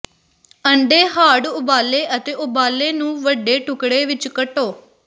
ਅੰਡੇ ਹਾਰਡ ਉਬਾਲੇ ਅਤੇ ਉਬਾਲੇ ਨੂੰ ਵੱਡੇ ਟੁਕੜੇ ਵਿੱਚ ਕੱਟੋ